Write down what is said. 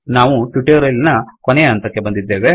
ನಾವು ಟ್ಯುಟೊರಿಯಲ್ ನ ಕೊನೆಯ ಹಂತಕ್ಕೆ ಬಂದಿದ್ದೇವೆ